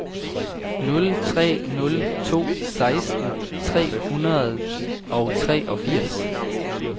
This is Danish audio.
nul tre nul to seksten tre hundrede og treogfirs